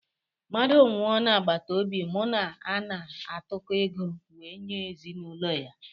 Mmadụ nwụọ na agbataobi mụ ana atụko ego wee nye ezinụlọ ya